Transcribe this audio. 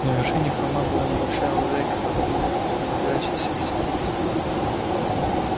на вершине холма была небольшая лужайка вроде выгона принадлежащая семейству уизли